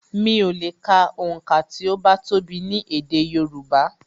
Mi ò lè ka onka ti o bá tó bi ni èdè Yorùbá